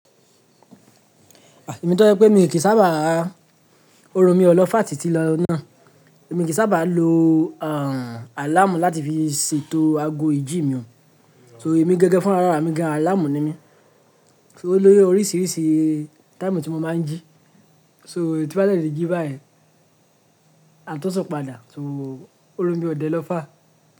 Èmi tó je pé mi kì í sábà á, orun mi ọ lọ́ fàr tí ti lọ náà. Èmi kì í sábà lo àlàmú láti fi ṣètò ago ìjí mi o. So èmi gangan fúnra ará mí gan, àlàmú ni mí. So ó lóju oríṣìíríṣìí táìmù tí mo máa ń jí. So tí mo bá dè ti jí báyen, maa tun sun padà, so orun mi ò dẹ lọ́ fàr.